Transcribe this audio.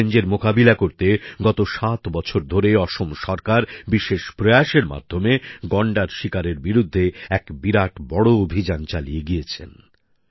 এই চ্যালেঞ্জের মোকাবিলা করতে গত ৭ বছর ধরে অসম সরকার বিশেষ প্রয়াসের মাধ্যমে গন্ডার শিকারের বিরুদ্ধে এক বিরাট বড় অভিযান চালিয়ে গিয়েছেন